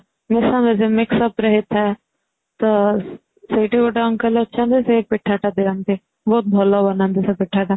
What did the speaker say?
ମିଶାମିଶି ରେ ହେଇଥାଏ ତ ସେଇଠି ଗିତେ uncle ଅଛନ୍ତି ସେଇ ପିଠା ଟା ଦିଅନ୍ତି ବହୁତ ଭଲ ବନାନ୍ତି ସେଇ ପିଠାଟା